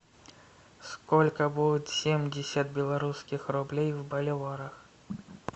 сколько будет семьдесят белорусских рублей в боливарах